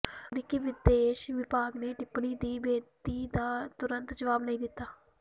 ਅਮਰੀਕੀ ਵਿਦੇਸ਼ ਵਿਭਾਗ ਨੇ ਟਿੱਪਣੀ ਦੀ ਬੇਨਤੀ ਦਾ ਤੁਰੰਤ ਜਵਾਬ ਨਹੀਂ ਦਿੱਤਾ